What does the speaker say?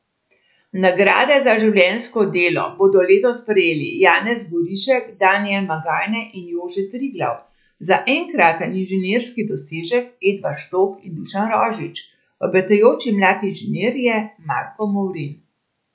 Nagrade za življenjsko delo bodo letos prejeli Janez Gorišek, Danijel Magajne in Jože Triglav, za enkraten inženirski dosežek Edvard Štok in Dušan Rožič, obetajoči mladi inženir je Marko Movrin.